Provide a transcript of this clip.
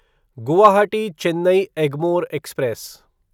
Guwahati Chennai Egmore express